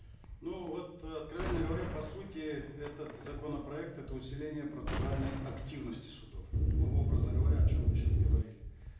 ну вот э откровенно говоря по сутиғ этот законопроект это усиление процессуальной активности судов ну образно говоря о чем мы сейчас говорили